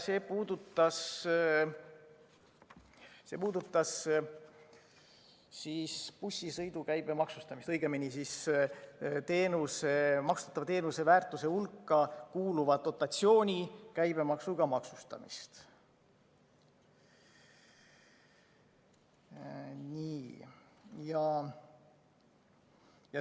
See puudutas bussisõidu käibemaksustamist, õigemini, maksustatava teenuse väärtuse hulka kuuluva dotatsiooni käibemaksuga maksustamist.